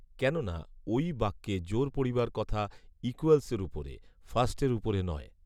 কেননা ওই বাক্যে জোর পড়িবার কথা ইকূয়ালসের উপরে, ফার্স্টের উপরে নয়